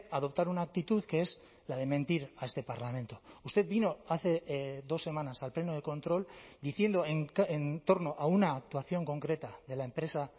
adoptar una actitud que es la de mentir a este parlamento usted vino hace dos semanas al pleno de control diciendo en torno a una actuación concreta de la empresa